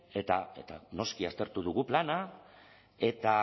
eta noski aztertu dugu plana eta